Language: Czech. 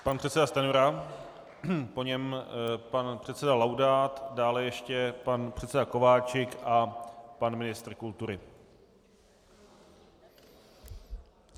Pan předseda Stanjura, po něm pan předseda Laudát, dále ještě pan předseda Kováčik a pan ministr kultury.